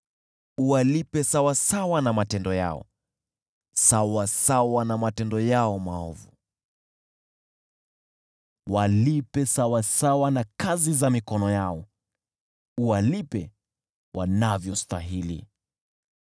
Walipe sawasawa na matendo yao, sawasawa na matendo yao maovu; walipe sawasawa na kazi za mikono yao, uwalipe wanavyostahili.